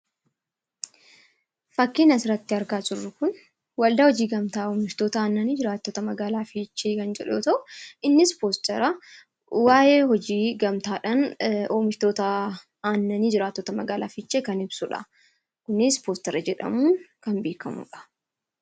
Fakkiin asirratti argaa jirru kun Waldaa Hojii Gamtaa Oomishtoota Aannanii Jiraattota Magaalaa Fiichee kan jedhu yoo ta'u, innis 'poostara' waa'ee hojii gamtaadhaan oomishtoota aannanii jiraattota magaalaa Fiichee kan ibsuudha. Innis 'poostara' jedhamuun kan beekamuudha.